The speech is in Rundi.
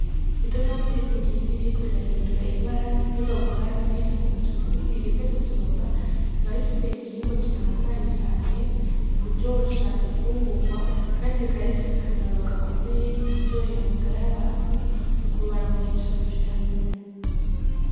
Itomati riri kugiti ririko rirahindura ibara riva ku katsi rija kumutuku rigeze gusoromwa rikaba rifise igihingwa gihambaye cane mukkuryosha imfungugwa Kandi bikaba bifise akamaro gakomeye mu kuryohera amagara y'abantu mukubaronkesha vitamine.